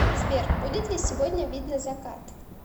сбер будет ли сегодня видно закат